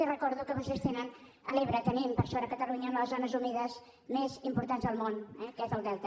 i els recordo que vostès tenen a l’ebre tenim per sort a catalunya les zones humides més importants del món eh que és el delta